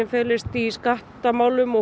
felst í skattamálum og